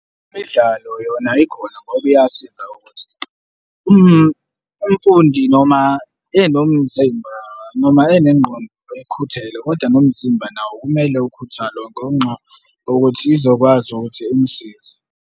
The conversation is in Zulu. Imidlalo yona ikhona ngoba iyasiza ukuthi umfundi noma enomzimba noma enengqondo ekhuthele kodwa nomzimba nawo kumele ukhuthale ngenxa yokuthi izokwazi ukuthi imusize.